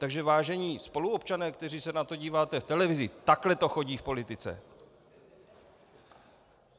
Takže vážení spoluobčané, kteří se na to díváte v televizi, takhle to chodí v politice.